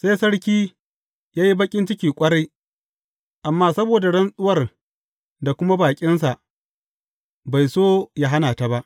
Sai sarki ya yi baƙin ciki ƙwarai, amma saboda rantsuwar da kuma baƙinsa, bai so yă hana ta ba.